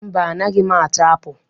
Mba, anaghị m ata apụl.